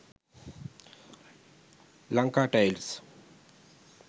lanka tiles